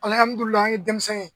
an ye denmisɛnw ye.